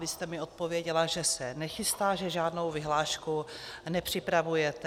Vy jste mi odpověděla, že se nechystá, že žádnou vyhlášku nepřipravujete.